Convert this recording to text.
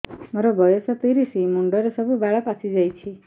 ମୋର ବୟସ ତିରିଶ ମୁଣ୍ଡରେ ସବୁ ବାଳ ପାଚିଯାଇଛି